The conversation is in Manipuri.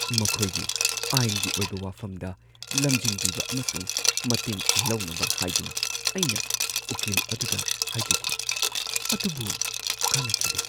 ꯃꯈꯣꯏꯒꯤ ꯑꯥꯏꯟꯒꯤ ꯑꯣꯏꯕ ꯋꯥꯐꯝꯗ ꯂꯝꯖꯤꯡꯕꯤꯕ ꯑꯃꯁꯨꯡ ꯃꯇꯦꯡ ꯂꯧꯅꯕ ꯍꯥꯏꯗꯨꯅ ꯑꯩꯅ ꯎꯀꯤꯜ ꯑꯗꯨꯗ ꯍꯥꯏꯖꯈꯤ, ꯑꯗꯨꯕꯨ ꯀꯥꯟꯅꯈꯤꯗꯦ!